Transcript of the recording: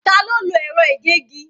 Ta ló lo ẹ̀rọ ìgégi?